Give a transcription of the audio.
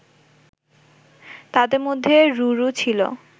তাদের মধ্যে রুরু ছিল